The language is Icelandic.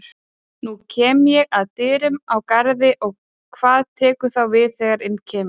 Nú kem ég að dyrum á Garði og hvað tekur þá við þegar inn kemur?